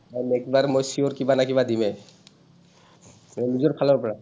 তাইক next বাৰ মই sure কিবা নাই কিবা দিমে। মই নিজৰ ফালৰ পৰা।